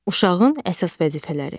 Uşağın əsas vəzifələri.